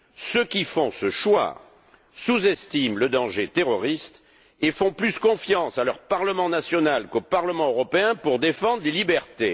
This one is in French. Ceux qui font ce choix sous estiment le danger terroriste et font davantage confiance à leur parlement national qu'au Parlement européen pour défendre les libertés.